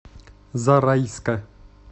зарайска